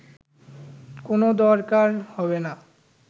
কোন দরকার হবে না